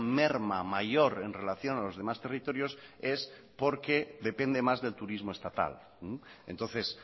merma mayor en relación a los demás territorios es porque depende más del turismo estatal entonces